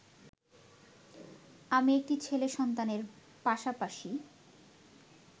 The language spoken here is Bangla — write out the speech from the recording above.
আমি একটি ছেলে সন্তানের পাশাপাশি